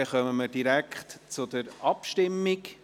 Somit kommen wir direkt zur Abstimmung.